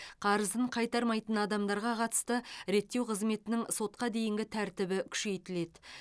қарызын қайтармайтын адамдарға қатысты реттеу қызметінің сотқа дейінгі тәртібі күшейтіледі